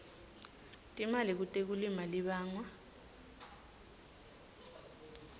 timali kutekulima libangwa